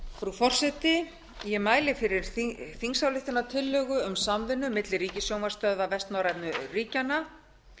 frú forseti ég mæli fyrir þingsályktunartillögu um samvinnu milli ríkissjónvarpsstöðva vestnorrænu ríkjanna